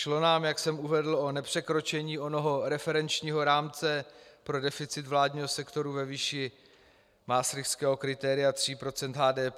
Šlo nám, jak jsem uvedl, o nepřekročení onoho referenčního rámce pro deficit vládního sektoru ve výši maastrichtského kritéria 3 % HDP.